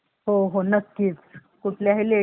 कुठल्याही ladies ला ते खूप महत्त्वाचा आहे